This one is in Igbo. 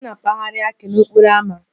M na-apagharị akị n'okporo ámá